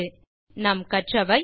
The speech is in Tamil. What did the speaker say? இந்த டியூட்டோரியல் இல் கற்றவை 1